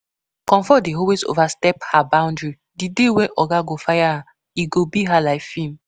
Comfort dey always overstep her boundary, the day when oga go fire am e go be her like film